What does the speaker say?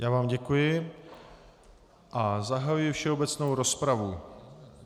Já vám děkuji a zahajuji všeobecnou rozpravu.